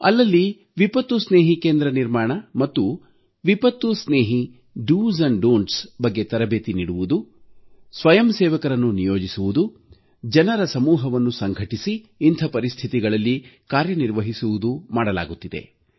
ಅಲ್ಲಲ್ಲಿ ವಿಪತ್ತುಸ್ನೇಹಿ ಕೇಂದ್ರ ನಿರ್ಮಾಣ ಮತ್ತು ವಿಪತ್ತುಸ್ನೇಹಿ ಮಾಡಬೇಕಾದ್ದು ಮತ್ತು ಮಾಡಬಾರದ್ದರ ಬಗ್ಗೆ ತರಬೇತಿ ನೀಡುವುದು ಸ್ವಯಂಸೇವಕರನ್ನು ನಿಯೋಜಿಸುವುದು ಜನರ ಸಮೂಹವನ್ನು ಸಂಘಟಿಸಿ ಇಂಥ ಪರಿಸ್ಥಿತಿಗಳಲ್ಲಿ ಕಾರ್ಯನಿರ್ವಹಿಸುವುದು ಮಾಡಲಾಗುತ್ತಿದೆ